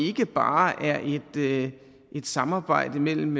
ikke bare er et samarbejde mellem